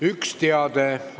Üks teade.